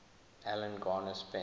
alan garner spent